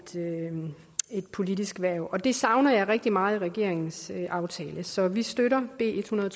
politisk hverv og det savner jeg rigtig meget i regeringens aftale så vi støtter b ethundrede